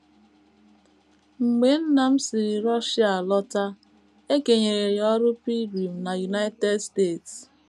Mgbe nna m sisịrị Russia lọta, e kenyere ya ọrụ pilgrim na United States.